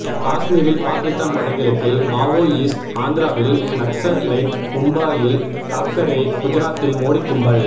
காஸ்மீரில் பாகிஸ்தான் வடகிழக்கில் மாவோயிஸ்ட் ஆந்திராவில் நக்ஸலைட் மும்பாயில் தாக்கரே குஜராத்தில் மோடிக் கும்பல்